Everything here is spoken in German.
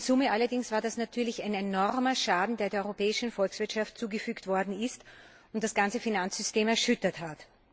in Summe allerdings war das natürlich ein enormer Schaden, der der europäischen Volkswirtschaft zugefügt worden ist und das ganze Finanzsystem erschüttert hat.